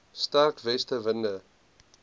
sterk weste winde